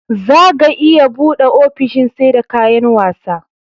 zaga iya buɗe ofishin seda kayan wasa